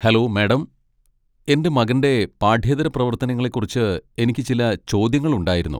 Hello, madam, എന്റെ മകന്റെ പാഠ്യേതര പ്രവർത്തനങ്ങളെക്കുറിച്ച് എനിക്ക് ചില ചോദ്യങ്ങളുണ്ടായിരുന്നു.